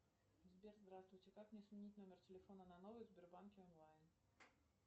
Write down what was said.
сбер здравствуйте как мне сменить номер телефона на новый в сбербанке онлайн